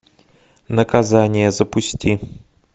наказание запусти